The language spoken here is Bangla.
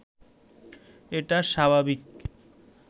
এটা স্বাভাবিক